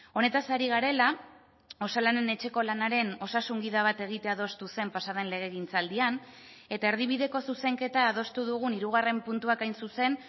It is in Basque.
honetaz ari garela osalanen etxeko lanaren osasun gida bat egitea adostu zen pasaden legegintzaldian eta erdibideko zuzenketa adostu dugun hirugarren puntuak hain zuzen